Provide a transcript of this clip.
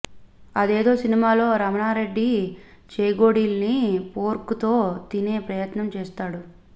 అదేదో సినిమాలో రమణారెడ్డి చేగోడీల్ని ఫోర్కు తో తినే ప్రయత్నం చేస్తాడు